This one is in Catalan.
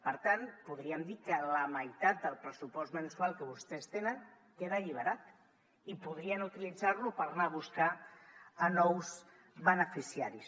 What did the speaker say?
per tant podríem dir que la meitat del pressupost mensual que vostès tenen queda alliberat i podrien utilitzar lo per anar a buscar nous beneficiaris